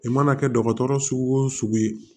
I mana kɛ dɔgɔtɔrɔ sugu o sugu ye